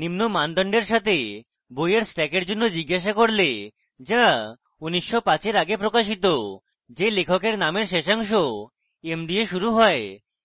নিম্ন মানদণ্ডের সাথে বইয়ের stack জন্য জিজ্ঞেস করলে: যা 1905 for আগে প্রকাশিত যে লেখক নামের শেষাংশ m দিয়ে শুরু হয়